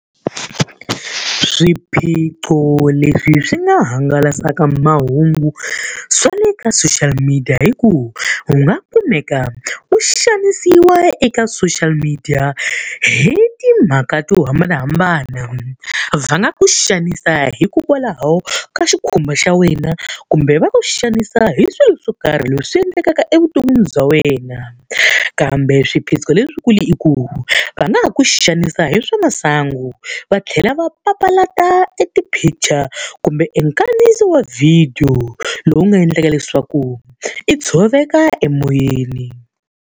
Swiphiqo leswi swi nga hangalasaka mahungu swa le ka social media i ku, u nga kumeka u xanisiwa eka social media hi timhaka to hambanahambana. Va nga ku xanisa hikokwalaho ka xikhumba xa wena kumbe va ku xanisa hi swilo swo karhi leswi endlekaka evuton'wini bya wena. Kambe swiphiqo leswikulu i ku, va nga ha ku xanisa hi swa masangu va tlhela va papalata eti-picture kumbe enkandziyisi wa vhidiyo lowu nga endlaka leswaku i tshoveka emoyeni.